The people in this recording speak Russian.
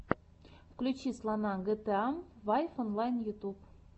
включи слона гта файв онлайн ютьюб